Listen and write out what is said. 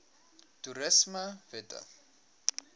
toerismewette